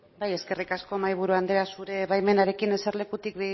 bai eskerrik asko mahaiburu andrea zure baimenarekin eserlekutik